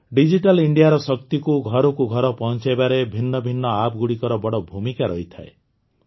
digital ଇଣ୍ଡିଆର ଶକ୍ତିକୁ ଘରକୁ ଘର ପହଂଚାଇବାରେ ଭିନ୍ନ ଭିନ୍ନ ଆପ୍ ଗୁଡ଼ିକର ବଡ଼ ଭୂମିକା ରହିଥାଏ